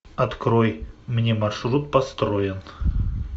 открой мне маршрут построен